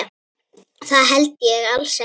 Það held ég alls ekki.